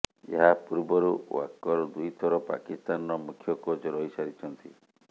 ଏହା ପୂର୍ବରୁ ୱାକର ଦୁଇଥର ପାକିସ୍ତାନର ମୁଖ୍ୟ କୋଚ୍ ରହିସାରିଛନ୍ତି